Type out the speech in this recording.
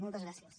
moltes gràcies